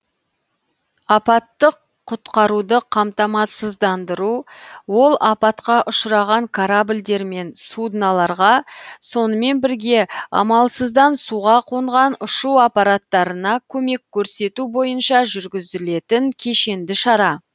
апаттық құтқаруды қамтамасыздандыру ол апатқа ұшыраған корабльдер мен судналарға сонымен бірге амалсыздан суға қонған ұшу аппараттарына көмек көрсету бойынша жүргізілетін кешенді шара